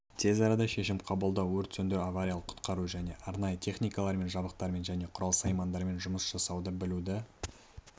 тезарада шешім қабылдау өрт сөндіру авариялық-құтқару және арнайы техникалармен жабдықтармен және құрал-саймандармен жұмыс жасауды білуді